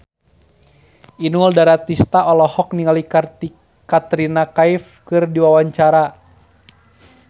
Inul Daratista olohok ningali Katrina Kaif keur diwawancara